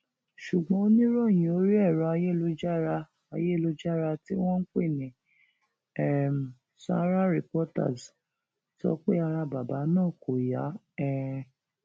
ṣùgbọn oníròyìn orí ẹrọ ayélujára ayélujára tí wọn ń pè ní um sárà reporters sọ pé ara bàbá náà kò yá um